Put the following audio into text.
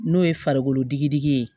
N'o ye farikolo digidi ye